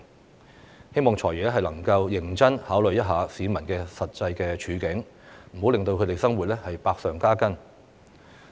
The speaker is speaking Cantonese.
我希望"財爺"能夠認真考慮市民的實際處境，不要令他們的生活百上加斤。